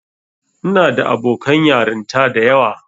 Ina da abokan yarinta da yawa.